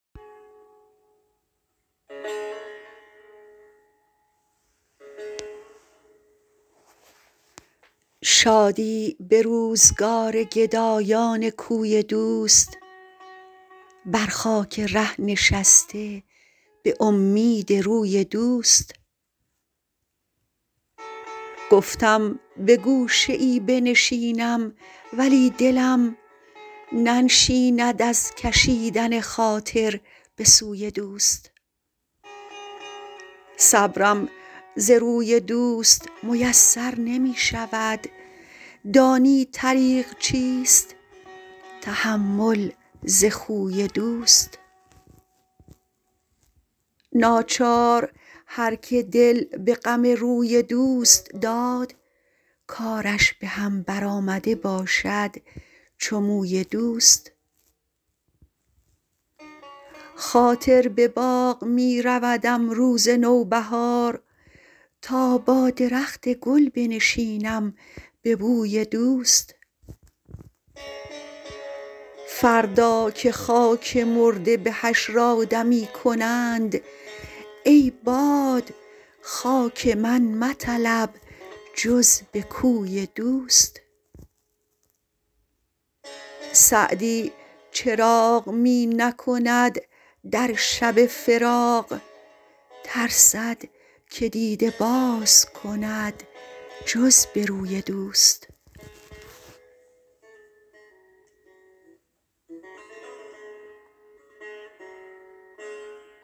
شادی به روزگار گدایان کوی دوست بر خاک ره نشسته به امید روی دوست گفتم به گوشه ای بنشینم ولی دلم ننشیند از کشیدن خاطر به سوی دوست صبرم ز روی دوست میسر نمی شود دانی طریق چیست تحمل ز خوی دوست ناچار هر که دل به غم روی دوست داد کارش به هم برآمده باشد چو موی دوست خاطر به باغ می رودم روز نوبهار تا با درخت گل بنشینم به بوی دوست فردا که خاک مرده به حشر آدمی کنند ای باد خاک من مطلب جز به کوی دوست سعدی چراغ می نکند در شب فراق ترسد که دیده باز کند جز به روی دوست